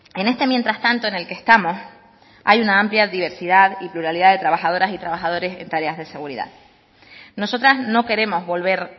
en este mientras tanto en el que estamos hay una amplia diversidad y pluralidad de trabajadoras y trabajadores en tareas de seguridad nosotras no queremos volver